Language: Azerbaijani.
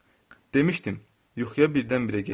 Demisdim, yuxuya birdən-birə getdim.